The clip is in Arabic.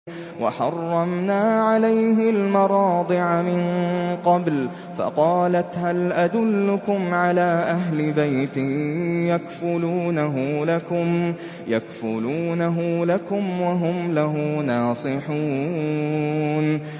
۞ وَحَرَّمْنَا عَلَيْهِ الْمَرَاضِعَ مِن قَبْلُ فَقَالَتْ هَلْ أَدُلُّكُمْ عَلَىٰ أَهْلِ بَيْتٍ يَكْفُلُونَهُ لَكُمْ وَهُمْ لَهُ نَاصِحُونَ